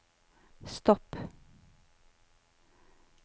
stopp